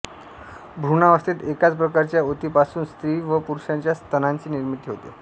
भ्रूणावस्थेत एकाच प्रकारच्या ऊतीपासून स्त्री व पुरुषाच्या स्तनांची निर्मिती होते